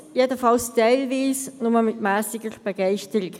Allerdings, jedenfalls teilweise, nur mit mässiger Begeisterung.